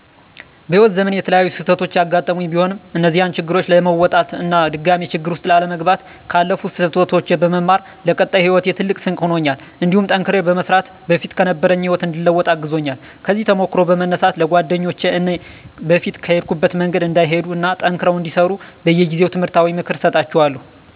በህይዎት ዘመኔ የተለያዩ ስህተቶች ያጋጠሙኝ ቢሆንም እነዚያን ችግሮች ለመወጣት እና ድጋሜ ችግር ውስጥ ላለመግባት ካለፉት ስህተቶች በመማር ለቀጣይ ሂወቴ ትልቅ ስንቅ ሆኖኛል እንዲሁም ጠንክሬ በመስራት በፊት ከነበረኝ ህይወት እንድለወጥ አግዞኛል። ከዚህ ተሞክሮ በመነሳት ለጓደኞቸ እኔ በፊት በሄድኩበት መንገድ እንዳይሄዱ እና ጠንክረው እንዲሰሩ በየጊዜው ትምህርታዊ ምክር እሰጣቸዋለሁ።